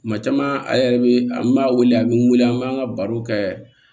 Kuma caman a yɛrɛ bɛ an b'a wele a bɛ n weele an b'an ka baro kɛ